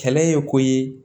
Kɛlɛ ye ko ye